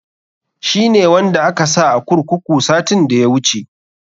Shi ne wanda aka sa a kurkuru satin da ya wuce.